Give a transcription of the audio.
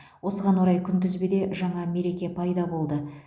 осыған орай күнтізбеде жаңа мереке пайда болды